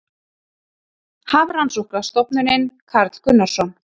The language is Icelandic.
Hafrannsóknastofnunin- Karl Gunnarsson